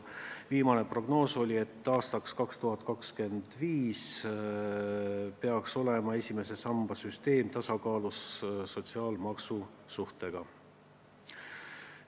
Viimane prognoos on, et aastaks 2025 peaks esimese samba süsteem olema sotsiaalmaksu suhtega tasakaalus.